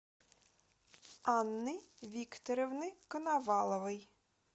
анны викторовны коноваловой